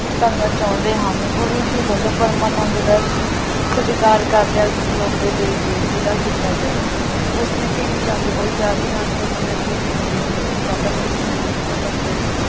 ਕਰਨਾ ਚਾਹੁੰਦੇ ਹਨ। ਗੁਰੂ ਜੀ ਵੱਲੋਂ ਪਰਮਾਨੰਦ ਦਾ ਸਤਿਕਾਰ ਕਰਦਿਆਂ ਸਿਰੋਪੇ ਦੇ ਕੇ ਵਿਦਾ ਕੀਤਾ ਗਿਆ। ਉਸਨੇ ਭੀਮ ਚੰਦ ਕੋਲ ਜਾ ਕੇ ਆਨੰਦਪੁਰ ਸਾਹਿਬ ਦੇ ਆਨੰਦਮਈ ਵਾਤਾਵਰਣ ਦੀ ਪ੍ਰਸ਼ੰਸ਼ਾ ਕਰਦਿਆਂ